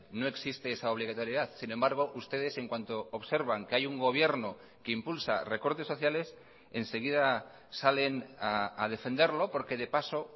no existe esa obligatoriedad sin embargo ustedes en cuanto observan que hay un gobierno que impulsa recortes sociales enseguida salen a defenderlo porque de paso